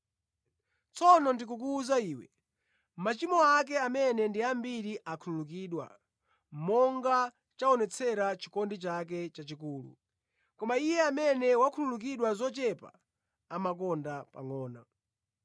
Tsono, ndikukuwuza iwe, machimo ake amene ndi ambiri akhululukidwa, monga chaonetsera chikondi chake chachikulu. Koma iye amene wakhululukidwa zochepa amakonda pangʼono.”